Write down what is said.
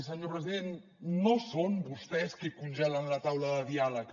senyor president no són vostès qui congelen la taula de diàleg